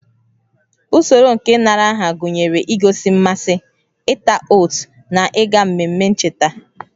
Usoro nke ịnara aha gụnyere igosi mmasị, ịta oat na ịga n'ememe ncheta